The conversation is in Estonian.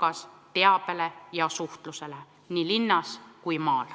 ka teabele ja suhtlusvahenditele nii linnas kui maal.